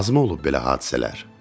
Azmı olub belə hadisələr?